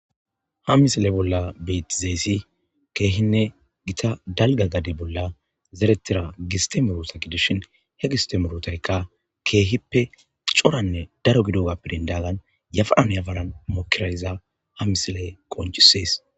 ha misile bolla beetizeessi keehinne gita dalga gade bolla zeretira gistemurota gidishin he gistemerotaykka keehippe coranne daro gido ga pirindagan yafaanyafaran mokirayiza ha misiley qoncisees